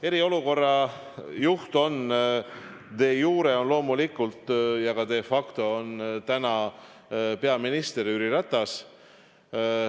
Eriolukorra juht on de iure loomulikult ja ka de facto täna peaminister Jüri Ratas.